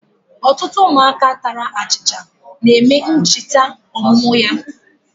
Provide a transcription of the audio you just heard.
Otutu umuaka tara achicha na ememe nchita omumu ya.